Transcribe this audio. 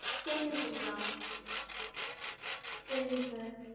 changes ங்களா, சரிங்க sir.